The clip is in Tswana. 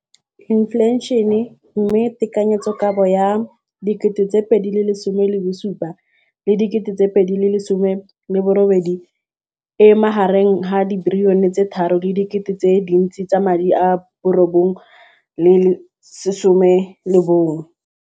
Infleišene, mme tekanyetsokabo ya 2017, 18, e magareng ga R6.4 bilione.